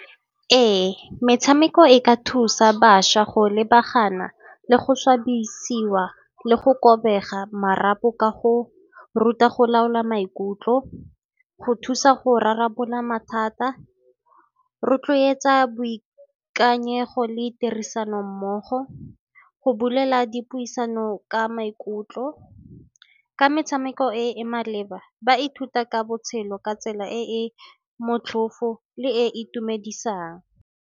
Ee, metshameko e ka thusa bašwa go lebagana, le go swabisiwa le go robega marapo ka go ruta go laola maikutlo. Go thusa go rarabolola mathata, rotloetsa boikanyego le tirisano mmogo. Go bolela dipuisano ka maikutlo, ka metshameko e e maleba ba ithuta ka botshelo ka tsela e e motlhofo le e e itumedisang.